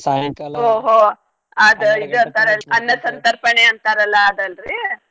ಸಂತರ್ಪಣೆ ಅಂತಾರಲ್ಲ ಅದಲ್ರೀ.